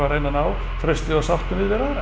reyna að ná trausti og sáttum yfir við aðra